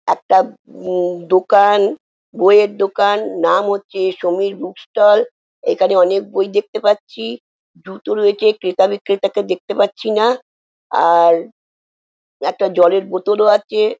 একটা উম উম দুকান বই এর দুকান নাম হচ্ছে সমীর বুক ষ্টল এখানে অনেক বই দেখতে পাচ্ছি জুতো রয়েছে লোকে ক্রেতা বিক্রেতা কে দেখতে পাচ্ছি না আর একটা জলের বোতল ও আছে।